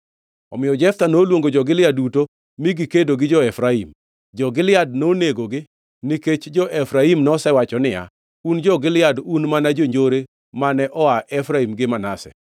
Omiyo Jeftha noluongo jo-Gilead duto mi gikedo gi jo-Efraim. Jo-Gilead nonegogi nikech jo-Efraim nosewacho niya, “Un jo-Gilead un mana jonjore mane oa Efraim gi Manase.”